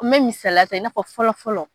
N me misaliya ta i n'a fɔ fɔlɔ fɔlɔ